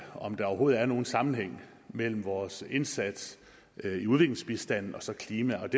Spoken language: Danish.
om der overhovedet er nogen sammenhæng mellem vores indsats i udviklingsbistanden og så klima